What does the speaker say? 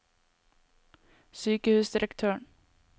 sykehusdirektøren